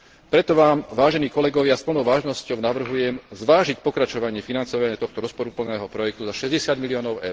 Preto vám, vážení kolegovia, s plnou vážnosťou navrhujem zvážiť pokračovanie financovania tohto rozporuplného projektu za 60 miliónov EUR.